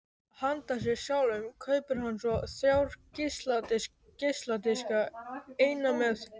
Handa sér sjálfum kaupir hann svo þrjá geisladiska: einn með